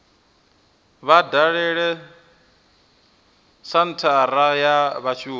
vha dalele senthara ya vhashumi